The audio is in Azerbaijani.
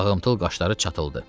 Ağımtıl qaşları çatıldı.